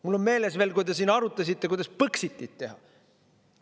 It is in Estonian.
Mul on meeles veel, kui te arutasite, kuidas põxitit teha.